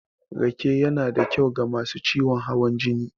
Rake yanada kyau ga masu ciwon hawan jini.